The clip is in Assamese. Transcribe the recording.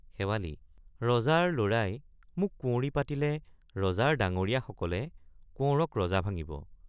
শেৱালি—ৰজাৰ লৰাই মোক কুঁৱৰী পাতিলে ৰজাৰ ডাঙৰীয়াসকলে কোঁৱৰক ৰজা ভাঙিব।